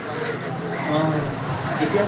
অ কেতিয়াৰ